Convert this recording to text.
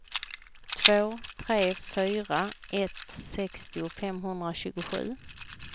två tre fyra ett sextio femhundratjugosju